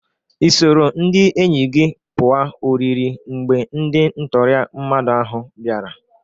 Ị soro ndị enyi gị pụa oriri mgbe ndị ntọrị mmadụ ahụ bịara?